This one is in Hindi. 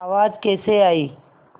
आवाज़ कैसे आई